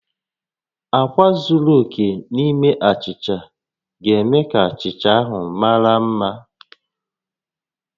Akwa zuru oke n'ime achicha ga-eme ka achicha ahụ mara mma